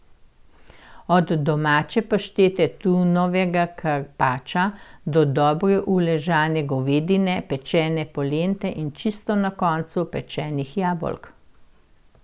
Od domače paštete, tunovega karpača, do dobro uležane govedine, pečene polente in čisto na koncu, pečenih jabolk.